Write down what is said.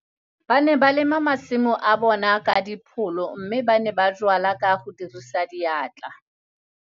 Ba ne ba lema masimo a bona ka dipholo mme ba ne ba jwala ka go dirisa diatla.